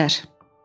Əkizlər.